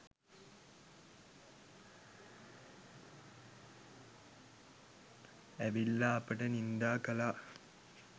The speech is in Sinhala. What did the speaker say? ඇවිල්ලා අපට නින්දා කළා